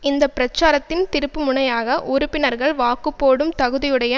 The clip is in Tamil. இந்த பிரச்சாரத்தின் திருப்பு முனையாக உறுப்பினர்கள் வாக்கு போடும் தகுதியுடைய